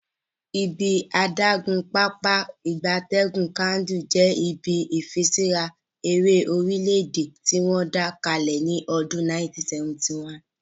Ibi adagun Pápá ìgbatẹ́gùn Kainji je ibi ifiṣura ere orile-ede tiwon da kale ni odun 1971